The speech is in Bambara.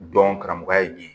Dɔn karamɔgɔya ye nin ye